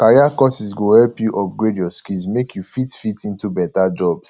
career courses go help you upgrade your skills make you fit fit into beta jobs